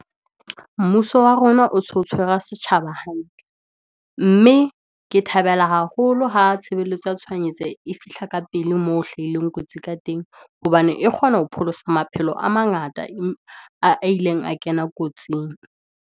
Mmuso wa rona o so tshwara setjhaba hantle, mme ke thabela haholo ha tshebeletso ya tshwanetse e fihla ka pele moo hlahileng kotsi ka teng, hobane e kgona ho pholosa maphelo a mangata, a ileng a kena kotsing.